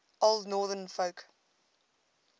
old northern folk